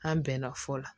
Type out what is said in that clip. An bɛnna fɔ